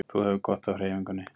Þú hefur gott af hreyfingunni